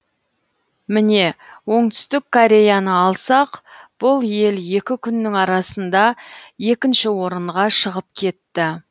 міне оңтүстік кореяны алсақ бұл ел екі күннің арасында екінші орынға шығып кетті